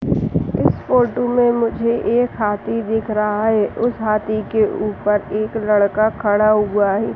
इस फोटो में मुझे एक हाथी दिख रहा है। उस हाथी के ऊपर एक लड़का खड़ा हुआ है।